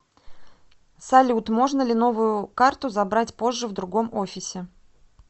салют можно ли новую карту забрать позже в другом офисе